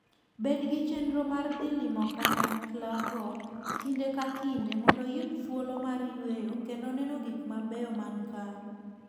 Bed gi chenro mar dhi limo kanyaklago kinde ka kinde mondo iyud thuolo mar yueyo kendo neno gik mabeyo man kae.